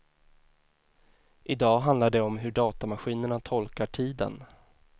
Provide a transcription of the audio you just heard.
I dag handlar det om hur datamaskinerna tolkar tiden.